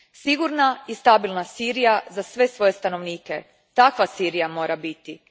Sigurna i stabilna Sirija za sve svoje stanovnike takva Sirija mora biti.